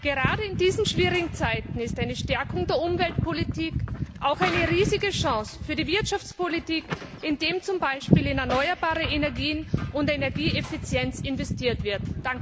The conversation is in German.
Gerade in diesen schwierigen Zeiten ist eine Stärkung der Umweltpolitik auch eine riesige Chance für die Wirtschaftspolitik, indem zum Beispiel in erneuerbare Energien und Energieeffizienz investiert wird.